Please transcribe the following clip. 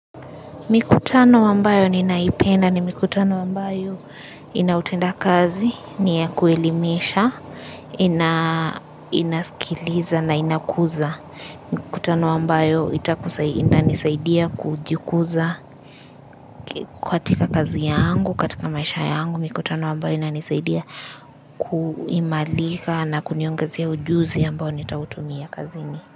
Mikutano ambayo ninaipenda ni mikutano ambayo inautenda kazi, ni ya kuelimesha, inaskiliza na inakuza. Mikutano ambayo itanisaidia kujikuza katika kazi yangu, katika maisha yangu. Mikutano ambayo inanisaidia kuhimarika na kuniongezea ujuzi ambao nitautumia kazini.